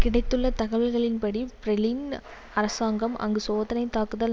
கிடைத்துள்ள தகவல்களின்படி பிரெளன் அரசாங்கம் அங்கு சோதனைத் தாக்குதல்